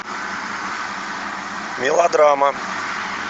мелодрама